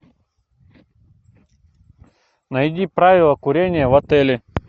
найди правила курения в отеле